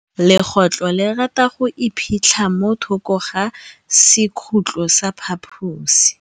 Legôtlô le rata go iphitlha mo thokô ga sekhutlo sa phaposi.